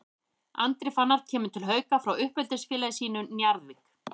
Andri Fannar kemur til Hauka frá uppeldisfélagi sínu Njarðvík.